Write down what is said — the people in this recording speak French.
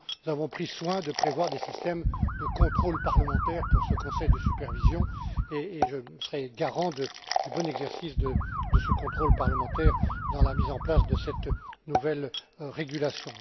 Nous avons pris soin de prévoir des systèmes de contrôle parlementaire pour ce conseil de supervision, et je serai garant du bon exercice de ce contrôle parlementaire dans la mise en place de cette nouvelle régulation.